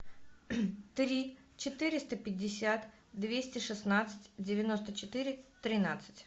три четыреста пятьдесят двести шестнадцать девяносто четыре тринадцать